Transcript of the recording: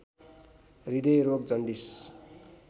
हृदयरोग jaundice